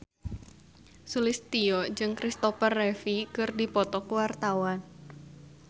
Sulistyowati jeung Kristopher Reeve keur dipoto ku wartawan